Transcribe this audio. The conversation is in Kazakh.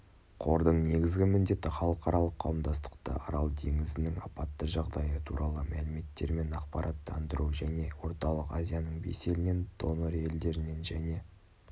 қордың негізгі міндеті халықаралық қауымдастықты арал теңізінің апатты жағдайы туралы мәліметтермен ақпараттандыру және орталық азияның бес елінен донор-елдерінен және